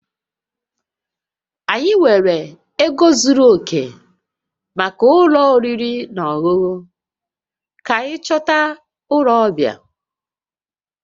Anyị enweghị ego zuru oke maka ụlọ oriri na ọṅụṅụ, ka anyị chọta ụlọ ọbịa